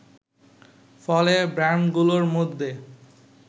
ফলে ব্র্যান্ডগুলোর মধ্যে